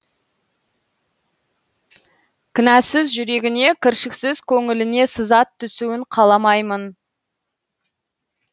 кінәсіз жүрегіне кіршіксіз көңіліне сызат түсуін қаламаймын